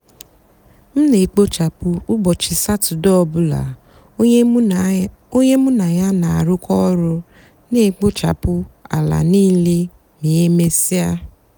m nà-èkpochapụ úbọchị satọde ọ bụlà ónyé mụ nà yá nà-àrụkọ ọrụ nà-èkpochapụ álá nííle mà emesíá.